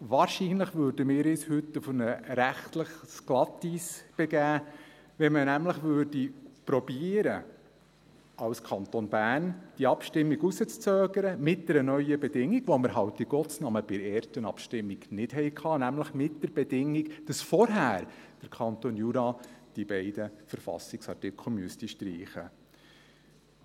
Wahrscheinlich würden wir uns heute auf rechtliches Glatteis begeben, wenn wir nämlich als Kanton Bern diese Abstimmung hinauszuzögern versuchen würden – mit einer neuen Bedingung, die wir halt in Gottes Namen bei der ersten Abstimmung nicht hatten, nämlich, dass der Kanton Jura diese beiden Verfassungsartikel vorher streichen